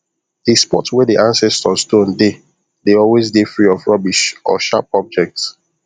the spot wey the ancestor stone dey dey always dey free of rubbish or sharp objects